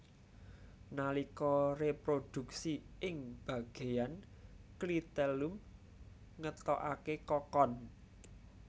Nalika réprodhuksi ing bagéyan klitellum ngetokaké kokon